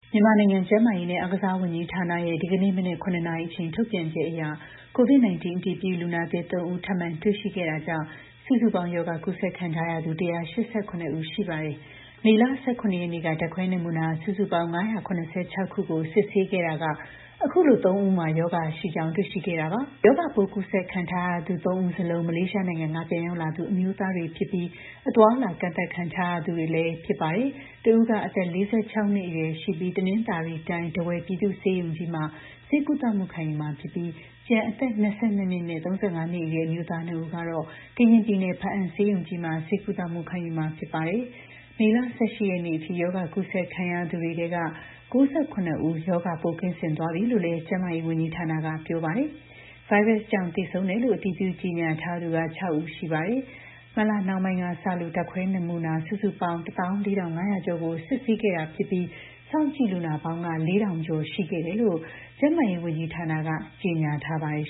မြန်မာနိုင်ငံ ကျန်းမာရေးနဲ့ အားကစားဝန်ကြီးဌာနရဲ့ ဒီနေ့ မနက် ၇ နာရီအချိန် ထုတ်ပြန်ချက်အရ COVID-19 အတည်ပြု လူနာသစ် ၃ ဦး ထပ်မံ တွေ့ရှိခဲ့တာကြောင့် စုစုပေါင်း ရောဂါ ကူးစက်ခံထားရသူ ၁၈၇ ဦး ရှိပါတယ်။ မေလ ၁၇ ရက်နေ့က ဓါတ်ခွဲနမူနာ စုစုပေါင်း ၅၇၆ ခုကို စစ်ဆေးခဲ့ရာက အခုလို ၃ ဦးမှာ ရောဂါရှိကြောင်း တွေ့ရှိခဲ့တာပါ။ ရောဂါပိုး ကူးစက်ခံရသူတွေထဲ ၃ ဦး စလုံး မလေးရှားနိုင်ငံက ပြန်ရောက်လာသူ အမျိုးသားတွေဖြစ်ပြီး အသွားအလာ ကန့်သတ်ခံထားရသူတွေလည်း ဖြစ်ပါတယ်။ တစ်ဦးက အသက် ၄၆ နှစ်အရွယ်ရှိပြီး တနင်္သာရီတိုင်း ထားဝယ် ပြည်သူ့ ဆေးရုံကြီးမှာ ဆေးကုသ ခံယူမှာဖြစ်ပြီး ကျန် အသက် ၂၂ နဲ့ ၃၅ နှစ်အရွယ် အမျိုးသား ၂ ဦးကတော့ ကရင်ပြည်နယ် ဘားအံဆေးရုံကြီးမှာ ဆေးကုသမှု ခံယူမှာ ဖြစ်ပါတယ်။ မေလ ၁၈ ရက်နေ့အထိ ရောဂါ ကူးစက်ခံရသူတွေထဲက ၉၇ ဦးက ရောဂါပိုးကင်းစင်သွားပြီးလို့လည်း ကျန်းမာရေးဝန်ကြီးဌာနက ပြောပါတယ်။ ဗိုင်းရပ်စ်ကြောင့် သေဆုံးတယ်လို့ အတည်ပြု ကြေညာထားသူက ၆ ဦး ရှိပါတယ်။ မတ်လနှောင်းပိုင်းကစလို့ ဓါတ်ခွဲ နမူနာ စုစုပေါင်း ၁၄,၅၀၀ ကျော်ကို စစ်ဆေးခဲ့တာဖြစ်ပြီး စောင့်ကြည့်လူနာပေါင်းက ၄,၀၀၀ ကျော် ရှိခဲ့တယ်လို့ ကျန်းမာရေး ဝန်ကြီးဌာနက ကြေညာထားပါတယ်